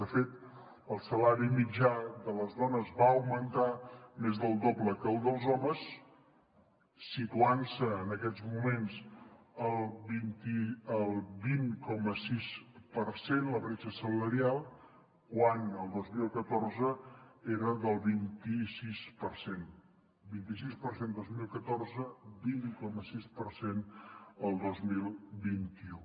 de fet el salari mitjà de les dones va augmentar més del doble que el dels homes situant se en aquests moments al vint coma sis per cent la bretxa salarial quan el dos mil catorze era del vint sis per cent vint sis per cent el dos mil catorze vint coma sis per cent el dos mil vint u